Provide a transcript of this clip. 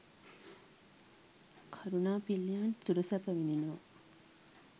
කරුණා පිල්ලෙයාන් සුර සැප විදිනවා